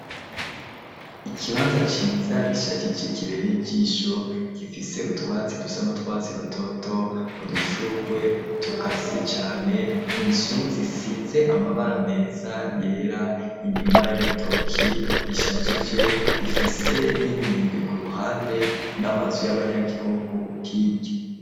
Ikibanza ciza gishagije kibere ijisho gifise utwatsi dusano twatsi rutoto udushurwe tukase cane inzu zisize amabara meza yera imirima y'ibitoki ishajije ifise n'imyembe ku ruhande n'amazi y'abanyagihugu kirya.